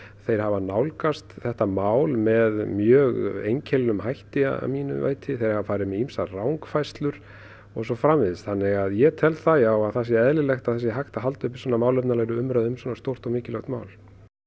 þeir hafa nálgast þetta mál með mjög einkennilegum hætti að mínu viti þeir hafa farið með ýmsar rangfærslur og svo framvegis þannig að ég tel það já að það sé eðlilegt að það sé hægt að halda uppi málefnalegri umræðu um svo stórt og mikilvægt mál